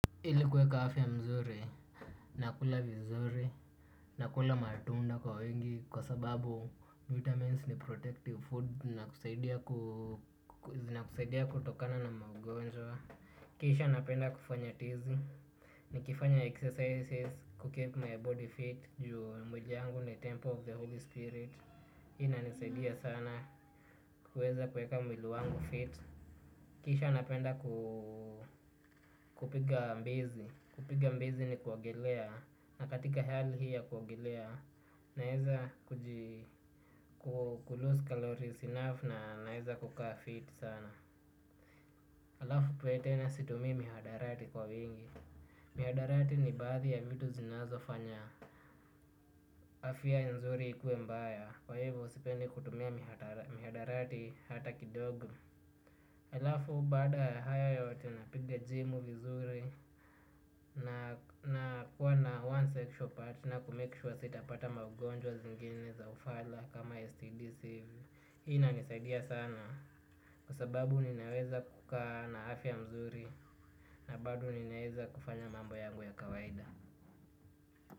Hili kuweka hafya mzuri, nakula vizuri, nakula matunda kwa wingi kwa sababu vitamins ni protective food na kusaidia kutokana na maugonjwa. Kisha napenda kufanya tizi, nikifanya exercises, kukeep my body fit, juu mwili yangu ni temple of the holy spirit. Hi inanisaidia sana, kuweza kuweka mwili wangu fit. Kisha napenda kupiga mbizi. Kupiga mbizi ni kuogelea. Na katika hali hii ya kuogelea, naeza kujilose kalorisi enough na naeza kukaa fit sana. Alafu ikuwe tena situmii mihadarati kwa wingi. Mihadarati ni baadhi ya vitu zinazo fanya. Afya nzuri ikuwe mbaya. Kwa hivyo sipendi kutumia mihadarati hata kidogo. Alafu bada ya haya yote napiga jimu vizuri na kuwa na one sexual partner kumake sure sitapata maugonjwa zingine za ufala kama STD. Ina nisaidia sana kwa sababu ninaweza kukaa na afya mzuri na bado ninaweza kufanya mambo yangu ya kawaida.